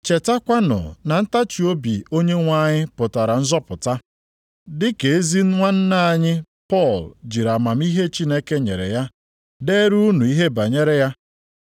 Chetakwanụ na ntachiobi Onyenwe anyị pụtara nzọpụta, dịka ezi nwanna anyị Pọl jiri amamihe Chineke nyere ya deere unu ihe banyere ya.